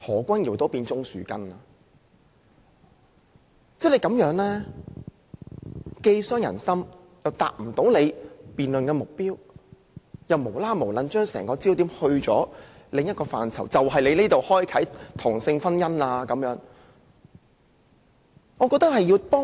這種話既傷人心，又無法達到辯論的目標，只是把整個辯論焦點轉移至另一範疇，指出做法打開同性婚姻的缺口。